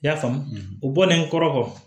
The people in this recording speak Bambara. I y'a faamu u bɔlen kɔrɔ kɔ